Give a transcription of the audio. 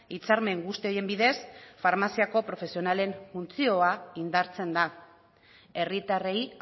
hitzarmen guzti horien bidez farmaziako profesionalen funtzioa indartzen da herritarrei